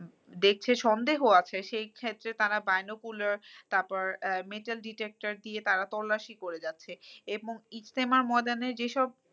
দেখছে সন্দেহ আছে সেক্ষেত্রে তারা binocular তারপর আহ metal detector দিয়ে তারা তল্লাশি করে যাচ্ছে। এবং এস্তেমা ময়দানে যে সব